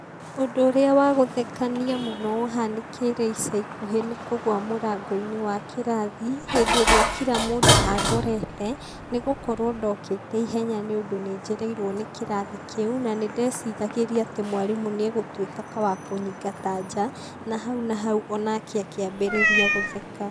Ũndũ ũrĩa wa guthekania mũno ũhanĩkĩire ica ikuhĩ nĩ kũgũa mũrango-ini wa kĩrathi, hĩndĩ ĩrĩa kira mũndũ andorete,, nĩ gũkorwo ndokĩte ihenya nĩ ũndũ nĩ njereirwo nĩ kĩrathi kĩu na nĩ ndeciragĩria atĩ mwarimũ nĩ egutuĩka wa kũnyingata nja, na hau na hau onake akĩmbĩrĩria gũtheka.